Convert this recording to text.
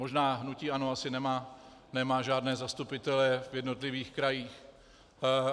Možná hnutí ANO asi nemá žádné zastupitele v jednotlivých krajích.